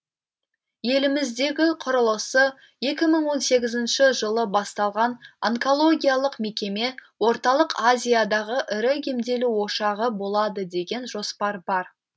еліміздегі құрылысы екі мың он сегізінші жылы басталған онкологиялық мекеме орталық азиядағы ірі емделу ошағы болады деген жоспар бар